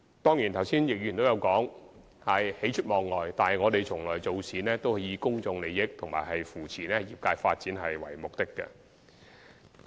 當然，剛才易志明議員亦有提及喜出望外，但我們做事從來是以公眾利益和扶持業界發展為目的。